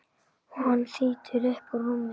Hann þýtur upp úr rúminu.